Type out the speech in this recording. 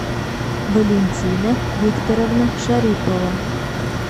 валентина викторовна шарипова